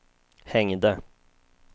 hängde